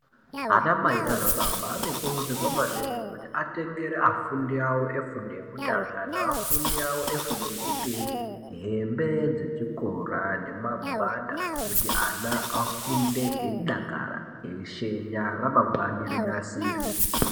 Ana mai nana baba anokurudzirwa maningi kuti atengere afundi awo efundi yekutanga neafundi awo efundo yechipiri hembe dzechikora nemagwada kuti ana afunde eidakara eishenya kuti ramangwana rinasirwe.